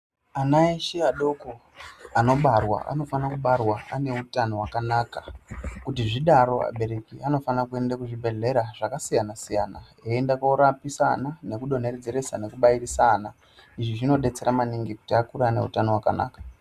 Ana eshe adoko, anobarwa anofana kubarwa ane utano hwakanaka. Kuti zvidaro abereki anofana kuenda kuzvibhedhlera zvakasiyana-siyana eienda korapisa ana nekudonhedzeresa nekubairisa ana. Izvi zvinodetsera maningi kuti akure aine utano wakanaka.